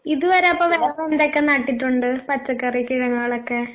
ഇതുവരെ അപ്പൊ വേറെ എന്തൊക്കെ നട്ടിട്ടുണ്ട് പച്ചക്കറി കിഴങ്ങുകളൊക്കെ?